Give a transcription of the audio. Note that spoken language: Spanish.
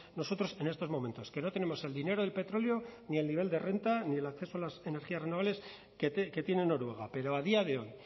nosotros en estos momentos que no tenemos el dinero del petróleo ni el nivel de renta ni el acceso a las energías renovables que tienen noruega pero a día de hoy